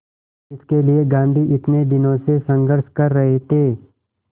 जिसके लिए गांधी इतने दिनों से संघर्ष कर रहे थे